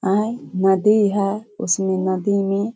ए नदी है उसमे नदी में --